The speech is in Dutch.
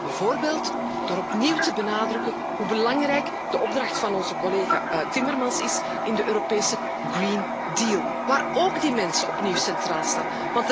Bijvoorbeeld door opnieuw te benadrukken hoe belangrijk de opdracht van onze collega Timmermans is in de Europese Green Deal, waarin ook de mens opnieuw centraal staat.